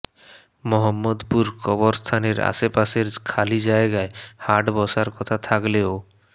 মোহাম্মদপুর কবরস্থানের আশপাশের খালি জায়গায় হাট বসার কথা থাকলেও